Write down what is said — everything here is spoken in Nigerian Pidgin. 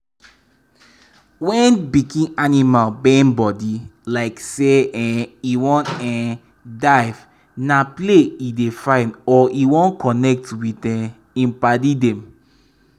wen pikin animal bend body like say um e wan um dive na play e dey find or e wan connect with um im padi dem.